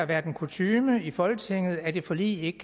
været kutyme i folketinget at et forlig ikke